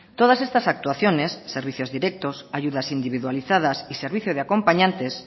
todas estas actuaciones servicios directos ayudas individualizadas y servicio de acompañantes